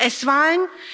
Auf die US Wahlen?